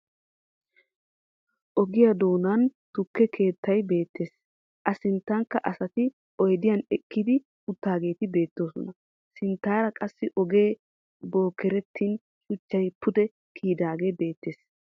Ogiyaa doonan tukke keettay beettes. A sinttankka asati oyidiyan ekkidi uttidaageeti beettoosona. Sinttaara qassi ogee bookertin shuchchay pude kiyidaagee beettes.